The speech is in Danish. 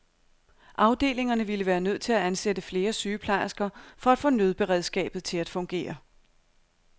Afdelingerne ville være nødt til at ansætte flere sygeplejersker for at få nødberedskabet til at fungere.